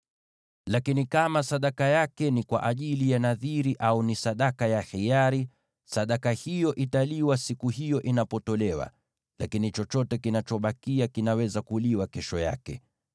“ ‘Lakini kama sadaka yake ni kwa ajili ya nadhiri au ni sadaka ya hiari, sadaka hiyo italiwa siku hiyo inapotolewa, lakini chochote kinachobakia kinaweza kuliwa kesho yake.